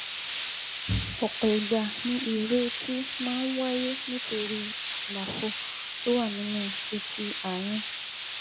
Ọ̀pọ̀ ìgbà ni ìró etí máa ń wáyé nítorí àlàfo tó wà nínú etí àárín